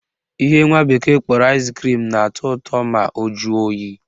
Ihe nwa bekee kpọrọ ice cream na-atọ ụtọ ma o jụọ oyi